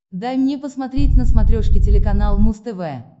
дай мне посмотреть на смотрешке телеканал муз тв